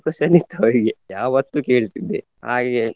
question ಇತ್ತು ಅವರಿಗೆ ಯಾವತ್ತು ಕೇಳ್ತಿದ್ದೆ ಹಾಗೆ.